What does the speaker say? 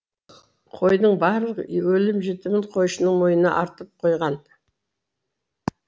қойдың барлық өлім жітімін қойшының мойнына артып қойған